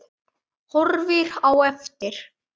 Horfir á eftir